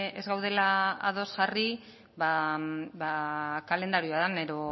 ez garela ados jarri ba kalendarioan